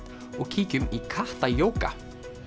og kíkjum í kattajóga